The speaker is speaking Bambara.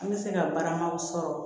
N bɛ se ka baramaw sɔrɔ